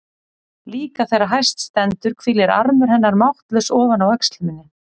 Líka þegar hæst stendur hvílir armur hennar máttlaus ofan á öxl minni.